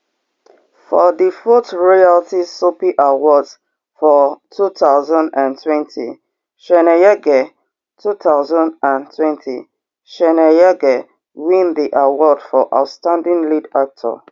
for di fourth royalty soapie awards for two thousand and twenty chweneyagae two thousand and twenty chweneyagae win di award for outstanding lead actor